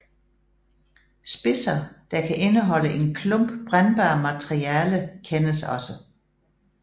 Spidser der kan indeholde en klump brændbart materiale kendes også